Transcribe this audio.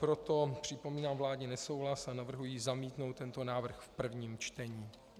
Proto připomínám vládní nesouhlas a navrhuji zamítnout tento návrh v prvním čtení.